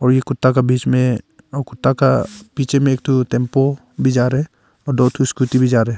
वही कुत्ता का बीच में कुत्ता का पीछे मैं एक ठो टेंपो भी जा रहा है और दो टो स्कूटी भी जा रहे हैं।